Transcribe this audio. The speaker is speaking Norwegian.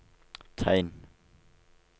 tegn